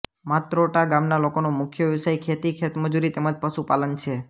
માત્રોટા ગામના લોકોનો મુખ્ય વ્યવસાય ખેતી ખેતમજૂરી તેમ જ પશુપાલન છે